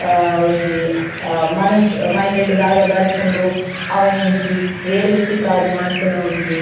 ಆ ಒಂಜಿ ಮನಸ್ಸ್ ಮೈಂಡ್ ಡ್ ದಾದ ಬರ್ಪುಂಡು ಅವೆನ್ ಒಂಜಿ ರಿಯಲಿಸ್ಟಿಕ್ ಆದ್ ಮನ್ಪುನ ಒಂಜಿ --